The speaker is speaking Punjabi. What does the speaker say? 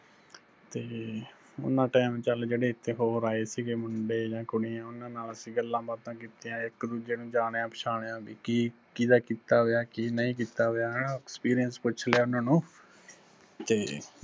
ਤੇ ਉਨਾਂ time ਚੱਲ ਜਿਹੜੇ ਇੱਥੇ ਹੋਰ ਆਏ ਸਿਗੇ ਮੁੰਡੇ ਜਾਂ ਕੁੜੀਆਂ, ਉਹਨਾਂ ਨਾਲ ਅਸੀਂ ਗੱਲਾਂ ਬਾਤਾਂ ਕੀਤੀਆਂ, ਇੱਕ ਦੂਜੇ ਨੂੰ ਜਾਣਿਆ ਪਛਾਣਿਆ ਬੀ ਕੀ ਕਿਹਦਾ ਕੀਤਾ ਹੋਇਆ ਕੀ ਨਹੀਂ ਕੀਤਾ ਹੋਇਆ ਹੈਣਾ experience ਪੁੱਛ ਲਿਆ ਉਹਨਾ ਨੂੰ, ਤੇ